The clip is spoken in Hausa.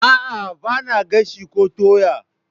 A'a, ba na gashi ko toya?